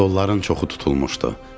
Stolların çoxu tutulmuşdu.